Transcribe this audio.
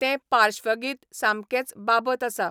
तें पाश्वगीत सामकेंच बाबत आसा